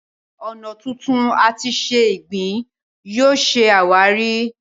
ọnà tuntun àti se ìgbín yóò ṣe àwáàrí.